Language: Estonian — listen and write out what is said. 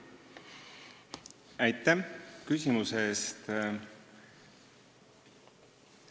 Aitäh küsimuse eest!